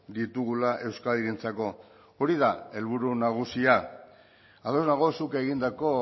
ditugula euskadirentzako hori da helburu nagusia ados nago zuk egindako